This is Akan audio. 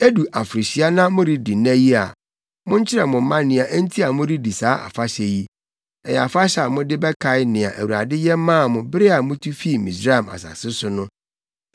Edu afirihyia na moredi nna yi a, monkyerɛ mo mma nea enti a moredi saa afahyɛ no. Ɛyɛ afahyɛ a mode bɛkae nea Awurade yɛ maa mo bere a mutu fii Misraim asase so no.